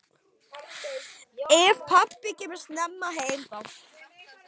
Ef pabbi kemur snemma heim þá.